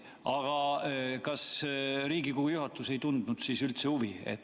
Aga kas Riigikogu juhatus ei tundnud siis üldse huvi?